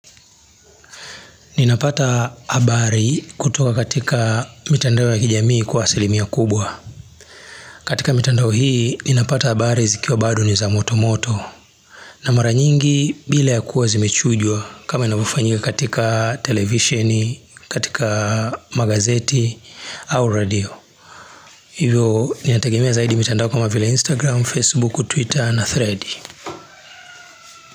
Ninapata habari kutoka katika mitandao ya kijamii kwa asilimia kubwa. Katika mitandao hii, ninapata habari zikiwa bado ni za motomoto. Na mara nyingi bila ya kuwa zimechujwa kama inavyofanyika katika televisheni, katika magazeti au redio. Hivyo, ninategemea zaidi mitandao kama vila Instagram, Facebook, Twitter na Thread.